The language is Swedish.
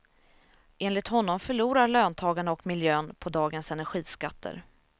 Enligt honom förlorar löntagarna och miljön på dagens energiskatter.